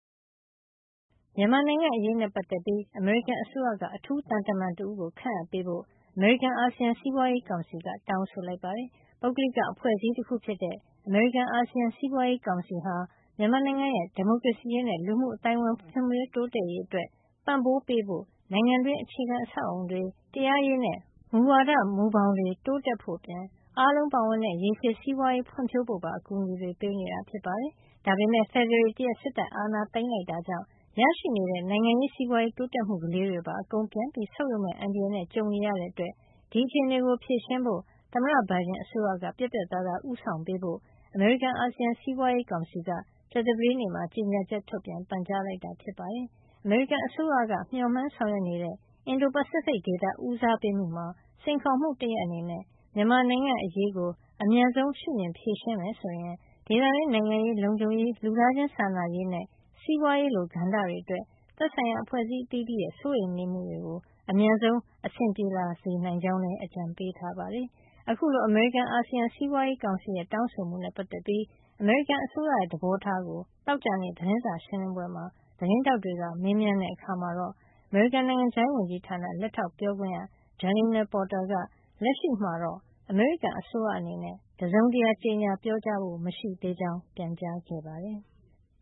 မြန်မာနိုင်ငံအရေးနဲ့ ပတ်သက်ပြီး အမေရိကန်အစိုးရက အထူးသံတမန် တဦးကို ခန့်အပ်ပေးဖို့ အမေရိကန်- အာဆီယံ စီးပွားရေးကောင်စီက တောင်းဆိုလိုက်ပါတယ်။ ပုဂ္ဂလိက အဖွဲ့အစည်းတခုဖြစ်တဲ့ အမေရိကန် -အာဆီယံ စီးပွားရေးကောင်စီဟာ မြန်မာနိုင်ငံရဲ့ ဒီမိုကရေစီရေးနဲ့ လူမှုအသိုင်းဝိုင်းဖွံ့ဖြိုး တိုးတက်ရေးအတွက် ပံ့ပိုးပေးဖို့ နိုင်ငံတွင်း အခြေခံအဆောက်အအုံတွေ၊ တရားရေးနဲ့ မူဝါဒမူဘောင်တွေ တိုးတက်ဖို့အပြင် အားလုံးပါဝင်တဲ့ ရေရှည်စီးပွါးရေးဖွံ့ဖြိုးဖို့ပါ အကူညီပေးနေတာ ဖြစ်ပါတယ်။ ဒါပေမယ့် ဖေဖေါ်ဝါရီလ ၁ ရက် စစ်တပ်အာဏာသိမ်းလိုက်တာကြောင့် ရရှိနေတဲ့ နိုင်ငံရေး စီးပွားရေး တိုးတက်မှုလေးတွေပါ အကုန်ပြန်ဆုတ်ယုတ်မယ့် အန္တရာယ် ကြုံနေရတာကြောင့် ဒီအခြေနေကို ဖြေရှင်းဖို့ သမ္မတဘိုင်ဒန် အစိုးရက ပြတ်ပြတ်သားသား ဦးဆောင်ပေး ဖို့ အမေရိကန်- အာဆီယံ စီးပွားရေးကောင်စီက ကြာသပတေးနေ့မှာ ကြေညာချက် ထုတ်ပြန်ပြီး ပန်ကြားလိုက်တာ ဖြစ်ပါတယ်။ အမေရိကန်အစိုးရက မျှော်မှန်းဆောင်ရွက်နေတဲ့ အင်ဒို- ပစိဖိတ်ဒေသ ဦးစားပေးမှုမှာ စိန်ခေါ်မှု တရပ်အနေနဲ့ မြန်မာနိုင်ငံ့ အရေးကို အမြန်ဆုံး ရှုမြင် ဖြေရှင်းမယ် ဆိုရင် ဒေသတွင်း နိုင်ငံရေး၊ လုံခြုံရေး၊ လူသားချင်းစာနာရေးနဲ့ စီးပွားရေး လို ကဏ္ဍတွေ အတွက် သက်ဆိုင်ရာ အဖွဲ့အစည်း အသီးသီးရဲ့ စိုးရိမ်မှုတွေအတွက် အမြန်အဆင်ပြေလာနိုင်ကြောင်းလည်း အကြံပေးထားပါတယ်။ အခုလို အမေရိကန်- အာဆီယံ စီးပွားရေးကောင်စီရဲ့ တောင်းဆိုမှုနဲ့ ပတ်သက်ပြီး အမေရိကန်အစိုးရရဲ့ သဘောထားကို သောကြာနေ့ သတင်းစာရှင်းလင်းပွဲမှာ သတင်းထောက်တွေကမေးမြန်းတဲ့ အခါမှာတော့ အမေရိကန်နိုင်ငံခြားရေးဝန်ကြီးဌာန လက်ထောက်ပြောခွင့်ရ Jalina Porter က လက်ရှိမှာတော့ အမေရိကန်အစိုးရအနေနဲ့ တစုံတရာ ကြေညာပြောကြားဖို့ မရှိသေးကြောင်း ပြန်ကြားခဲ့ပါတယ်။